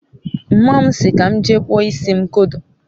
mma mu si ka m jee kpụọ isi m kodo